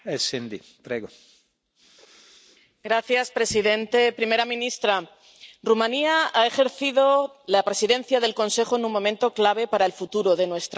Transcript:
Señor presidente, primera ministra, Rumanía ha ejercido la Presidencia del Consejo en un momento clave para el futuro de nuestra Unión.